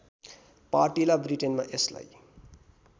पार्टिला ब्रिटेनमा यसलाई